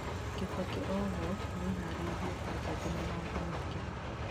kibaki oho nĩararĩrĩirie mbanjeti na maũndũ mangĩ